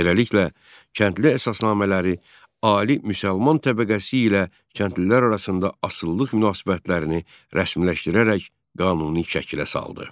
Beləliklə, kəndli əsasnamələri ali müsəlman təbəqəsi ilə kəndlilər arasında asılılıq münasibətlərini rəsmiləşdirərək qanuni şəkilə saldı.